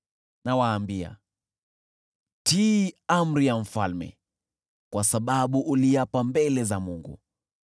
Nawaambia, Tii amri ya mfalme, kwa sababu uliapa mbele za Mungu.